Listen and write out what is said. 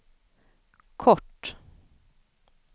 kort